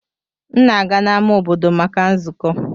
M na-aga n'ámá obodo maka nzukọ.